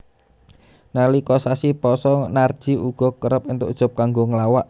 Nalika sasi pasa Narji uga kerep entuk job kanggo nglawak